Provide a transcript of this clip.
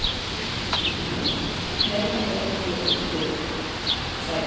Nei hann er ekki í heitu sæti.